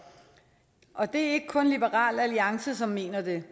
og det er ikke kun liberal alliance som mener det